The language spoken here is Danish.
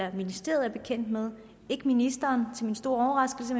i ministeriet er bekendt med ministeren er til min store overraskelse